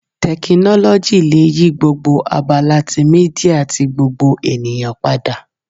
Tekinoloji le yi gbogbo abala ti media ti gbogbo eniyan pada